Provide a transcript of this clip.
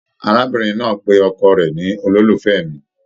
Arábìnrin náà pé ọkọ rẹ ní "ololufẹ mí''